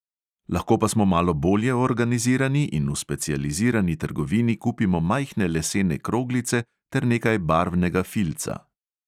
Lahko pa smo malo bolje organizirani in v specializirani trgovini kupimo majhne lesene kroglice ter nekaj barvnega filca.